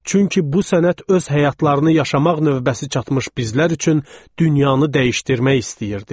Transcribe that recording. Çünki bu sənət öz həyatlarını yaşamaq növbəsi çatmış bizlər üçün dünyanı dəyişdirmək istəyirdi.